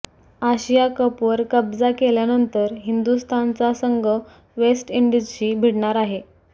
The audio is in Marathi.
आशिया कपवर कब्जा केल्यानंतर हिंदुस्थानचा संघ वेस्ट इंडिजशी भिडणार आहे